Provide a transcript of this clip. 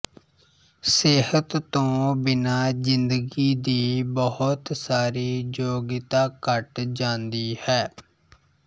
ਸਿਹਤ ਤੋਂ ਬਿਨ੍ਹਾਂ ਜਿੰਦਗੀ ਦੀ ਬਹੁਤ ਸਾਰੀ ਯੋਗਿਤਾ ਘਟ ਜਾਂਦੀ ਹੈ